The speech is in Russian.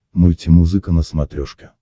мультимузыка на смотрешке